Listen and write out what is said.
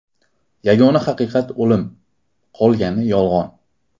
Yagona haqiqat – o‘lim, qolgani yolg‘on.